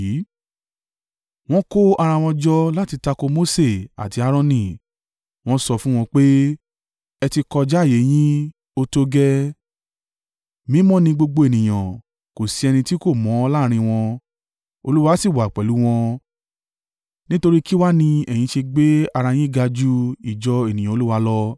Wọ́n kó ara wọn jọ láti tako Mose àti Aaroni, wọ́n sọ fún wọn pé, “Ẹ ti kọjá ààyè yín, ó tó gẹ́ẹ́! Mímọ́ ni gbogbo ènìyàn, kò sí ẹni tí kò mọ́ láàrín wọn, Olúwa sì wà pẹ̀lú wọn, nítorí kí wá ni ẹ̀yin ṣe gbé ara yín ga ju ìjọ ènìyàn Olúwa lọ?”